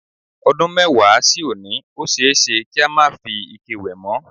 O̩dún mé̩wàá sí òní, ó s̩e é s̩e kí a má fi ike wè̩ mó̩.